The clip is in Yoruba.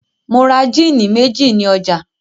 Mo ra jíínì méjì ní ọjà.